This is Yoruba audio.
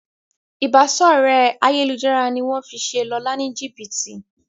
Ìbáṣọ̀rẹ́ ayélujára ní wón fí ṣe Lọla ní jibiti.